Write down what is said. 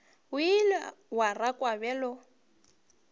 o ile wa rakwa bjalo